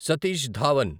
Satish Dhawan